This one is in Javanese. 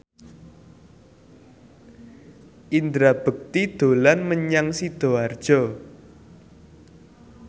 Indra Bekti dolan menyang Sidoarjo